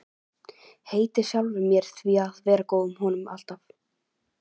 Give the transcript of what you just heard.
Heiti sjálfri mér því að vera honum alltaf góð.